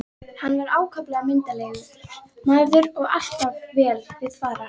Hann var ákaflega myndarlegur maður og alltaf vel til fara.